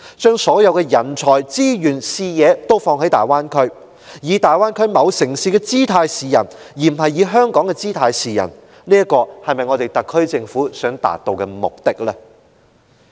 把所有人才、資源、視野均放在大灣區，以大灣區某城市的姿態示人，而不是以香港的姿態示人，這是否特區政府想達致的目的？